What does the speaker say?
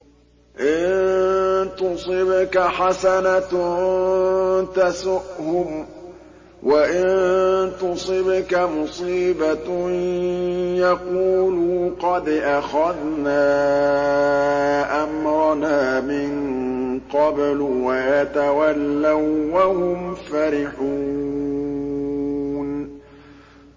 إِن تُصِبْكَ حَسَنَةٌ تَسُؤْهُمْ ۖ وَإِن تُصِبْكَ مُصِيبَةٌ يَقُولُوا قَدْ أَخَذْنَا أَمْرَنَا مِن قَبْلُ وَيَتَوَلَّوا وَّهُمْ فَرِحُونَ